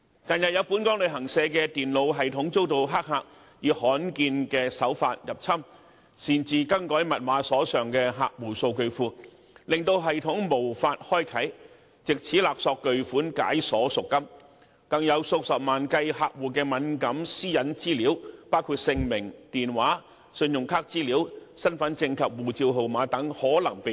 近日，有本港旅行社的電腦系統遭黑客以罕見手法入侵，擅自更改密碼，鎖上客戶數據庫，令系統無法開啟，藉此勒索巨款解鎖贖金，更有數十萬計客戶的敏感私隱資料可能被盜取，包括姓名、電話、信用卡資料、身份證及護照號碼。